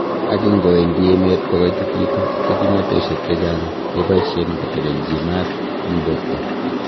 Ak ingowendi emet ko koitititu, ko kimnotosiek chechang keboishen kotelelchi maat en borto.